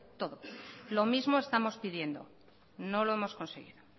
todo lo mismo estamos pidiendo no lo hemos conseguido